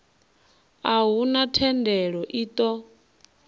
a huna thendelo i ṱo